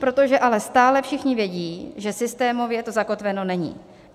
Protože ale stále všichni vědí, že systémově to zakotveno není.